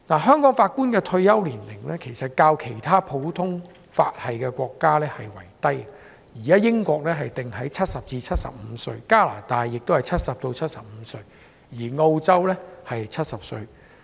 香港法官的退休年齡較其他普通法系的國家為低，例如英國法官的退休年齡定為70至75歲，加拿大也是70至75歲，而澳洲是70歲。